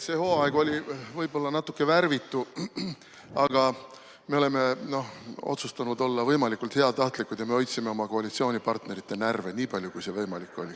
See hooaeg oli võib-olla natuke värvitu, aga me oleme otsustanud olla võimalikult heatahtlikud ja hoidsime oma koalitsioonipartnerite närve nii palju, kui see võimalik on olnud.